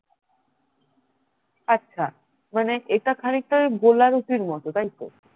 আচ্ছা মানে এটা খানিকটা ওই গোলা রুটির মতো তাইতো